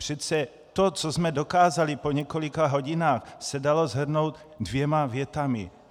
Přece to, co jsme dokázali po několika hodinách, se dalo shrnout dvěma větami.